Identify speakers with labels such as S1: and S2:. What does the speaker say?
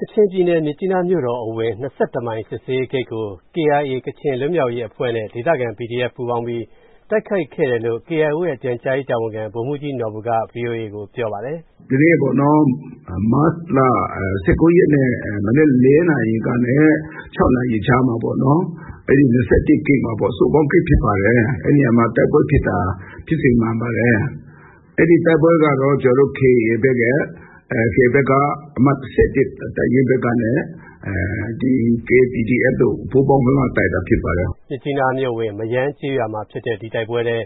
S1: ကချင်ပြည်နယ်၊ မြစ်ကြီးနားမြို့တော်အဝင် ၂၁ မိုင် စစ်ဆေးရေးဂိတ်ကို KIA ကချင်လွတ်မြောက်ရေးအဖွဲ့နဲ့ ဒေသခံ PDF ပူးပေါင်းပြီး တိုက်ခိုက်ခဲ့တယ်လို့ KIO ရဲ့ ပြန်ကြားရေးတာဝန်ခံ ဗိုလ်မှူးကြီးနော်ဘူက ဗွီအိုအေကို ပြောပါတယ်။
S2: “ဟုတ်ကဲ့ ဒီနေ့ မတ်လ ၁၉ ရက်နေ့ မနက် ၄ နာရီကနေ ၆ နာရီကြားမှာ အဲဒီ ၂၁ ဂိတ်မှာပေါ့၊ စုပေါင်းဂိတ်ဖြစ်ပါတယ်၊ အဲဒီနေရာမှာ တိုက်ပွဲဖြစ်တာ ဖြစ်စဉ်မှန်ပါတယ်။ အဲဒီတိုက်ပွဲကတော့ ကျနော်တို့ KIA ဘက်က အမှတ် ၁၁ တပ်ရင်းဘက်နဲ့ KPDF တို့ ပူးပေါင်းတိုက်တာ ဖြစ်ပါတယ်။” မြ
S1: စ်ကြီးနားမြို့အဝင် မရမ်းကျေးရွာမှာဖြစ်တဲ့ ဒီတိုက်ပွဲထဲ